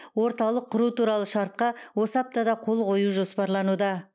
орталық құру туралы шартқа осы аптада қол қою жоспарлануда